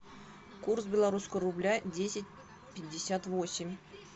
курс белорусского рубля десять пятьдесят восемь